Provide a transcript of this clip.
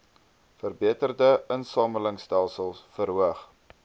verbeterde insamelingstelsels verhoog